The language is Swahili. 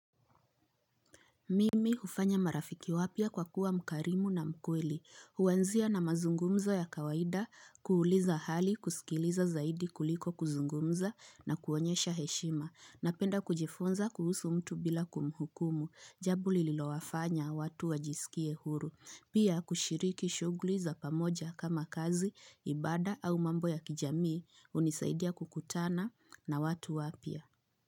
Mimi hufanya marafiki wapya kwa kuwa mkarimu na mkweli, huanzia na mazungumzo ya kawaida, kuuliza hali, kusikiliza zaidi kuliko kuzungumza na kuonyesha heshima, napenda kujifunza kuhusu mtu bila kumuhukumu, jambo lililowafanya watu wajisikie huru, pia kushiriki shugli za pamoja kama kazi, ibada au mambo ya kijamii, hunisaidia kukutana na watu wapia.